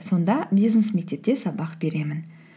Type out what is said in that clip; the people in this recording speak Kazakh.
сонда бизнес мектепте сабақ беремін